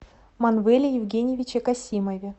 манвеле евгеньевиче косимове